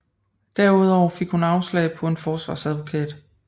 Derudover fik hun afslag på en forsvarsadvokat